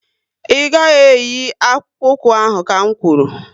Ị gaghị eyi akpụkpu ụkwụ ahụ ka n kwuru!